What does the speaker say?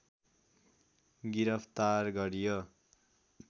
गिरफ्तार गरियो